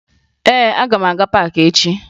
Ee, aga m aga paakị echi